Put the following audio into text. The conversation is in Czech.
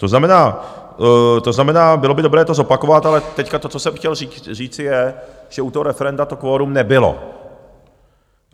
To znamená, bylo by dobré to zopakovat, ale teď to, co jsem chtěl říci, je, že u toho referenda to kvorum nebylo.